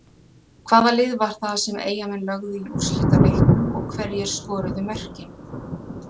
Hvaða lið var það sem Eyjamenn lögðu í úrslitaleiknum og hverjir skoruðu mörkin?